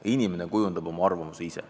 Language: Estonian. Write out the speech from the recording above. Inimene kujundab oma arvamuse ise.